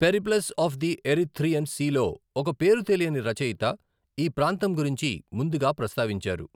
Periplus of the Erythraean సీలో ఒక పేరు తెలియని రచయిత ఈ ప్రాంతం గురించి ముందుగా ప్రస్తావించారు.